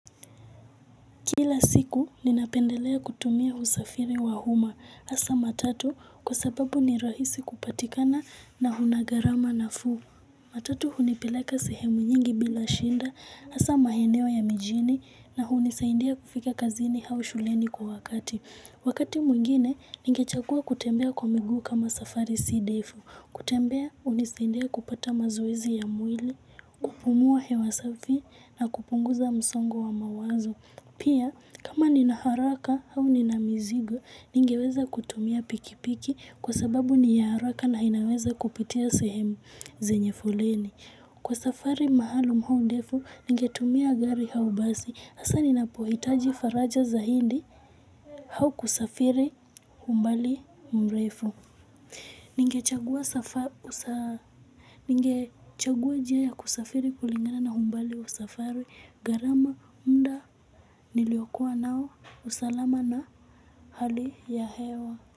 Kila siku ninapendelea kutumia usafiri wa umma, hasa matatu kwa sababu ni rahisi kupatikana na una gharama nafuu. Matatu hunipeleka sehemu nyingi bila shinda, hasa maeneo ya mijini na hunisaidia kufika kazini au shuleni kwa wakati. Wakati mwingine, ningechagua kutembea kwa miguu kama safari si ndefu, kutembea hunisaidia kupata mazoezi ya mwili, kupumua hewa safi na kupunguza msongo wa mawazo. Pia, kama nina haraka au nina mizigo, ningeweza kutumia pikipiki kwa sababu ni ya haraka na inaweza kupitia sehemu zenye foleni. Kwa safari maalum au ndefu, ningetumia gari au basi. Hasa ninapohitaji faraja zaidi au kusafiri umbali mrefu. Ningechagua njia ya kusafiri kulingana na umbali wa safari, gharama, mda, niliyokua nao, usalama na hali ya hewa.